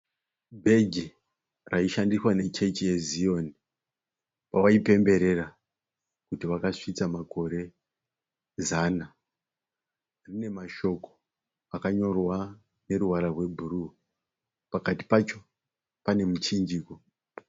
Bheji raishandiswa nechechi yezion pavaipemberera kuti vakasvitsa makore zana rine mashoko akanyorwa nemavara ebhuru. Pakati pacho pane muchinjikwa.